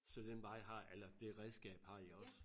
Så den vej har eller det redskab har i også